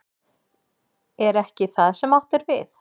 Er ekki það sem átt er við?